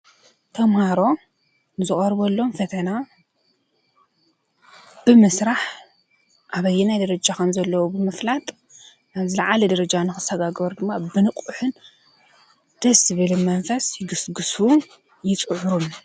ተማሃሮ ንዝቀረበሎም ፈተና ብምስራሕ ኣበየናይ ደረጃ ከም ዘለው ብምፍላጥ ናብ ዝላዓለ ደረጃ ንክሳጋገሩ ድማ ብንቁሕን ደስ ዝብል መንፈስ ይግስግሱን ይፅዕሩን።